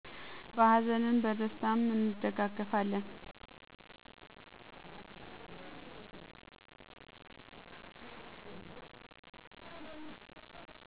በሀዘንም በደስታም እንደጋገፋለን